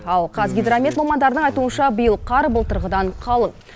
ал қазгидромет мамандарының айтуынша биыл қар былтырғыдан қалың